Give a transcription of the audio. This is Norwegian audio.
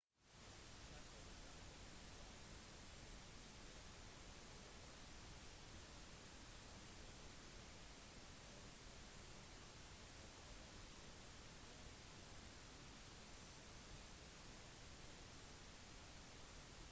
chaco-området var hjemmet til andre urbefolkningsgrupper som guaycurú og payaguá som overlevde ved jakt innsamling og fiske